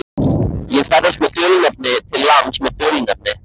Ég ferðast undir dulnefni til lands með dulnefni.